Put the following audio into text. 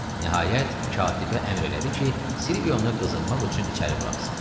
Nihayət, katibə əmr elədi ki, Silvionu qızınmaq üçün içəri buraxsın.